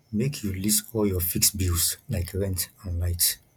make you list all your fixed bills like rent and light